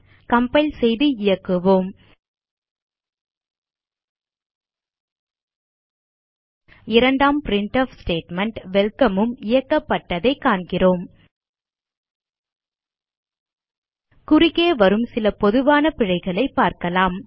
compile செய்து இயக்குவோம் இரண்டாம் பிரின்ட்ஃப் ஸ்டேட்மெண்ட் வெல்கம் உம் இயக்கப்பட்டதைக் காண்கிறோம் குறுக்கே வரும் சில பொதுவான பிழைகளைப் பார்க்கலாம்